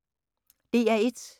DR1